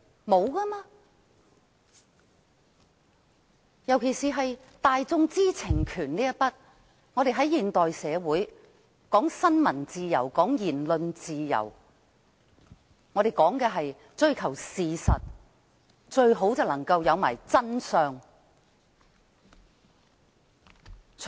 特別是就大眾知情權來說，在現代社會中，我們講求新聞自由和言論自由，我們說的是追求事實，最好便是能夠得到真相。